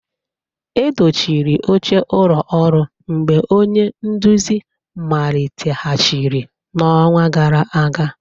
A dochiri oche ụlọ ọrụ mgbe onye nduzi maliteghachiri n'ọnwa gara aga